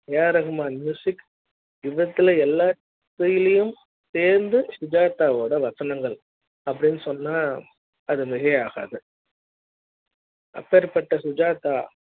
AR Rahman music இவற்றில எல்லாத்தையும் தேர்ந்து சுஜாதா வோட வசனங்கள் அப்படின்னு சொன்னா அது மிகையாகாது அப்பேற்ப்பட்ட சுஜாதா